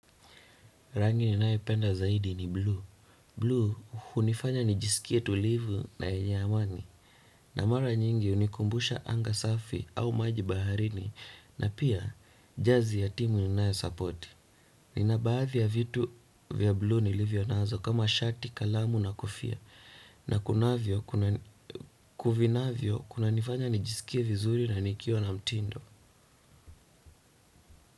Rangi ninae penda zaidi ni blue. Rangi ninae penda zaidi ni blue. Na mara nyingi hunikumbusha anga safi au maji baharini na pia jersey ya timu ninayo support. Nina baadhi ya vitu vya blue nilivyo nazo kama shati, kalamu na kofia. Na kunavyo kunanifanya nijisikie vizuri na nikiwa na mtindo.